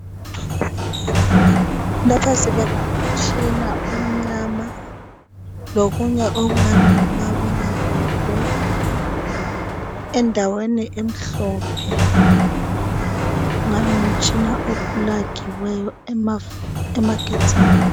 Lapha sibona umtshina omnyama lokunye okungani ngumabonakude endaweni emhlophe kungani uplagiwe emagetsini